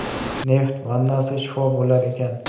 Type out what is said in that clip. Neft vannasi shifo bo‘lar ekan.